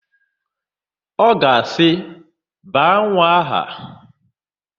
Ọ ga-asị, "baa nwa aha"!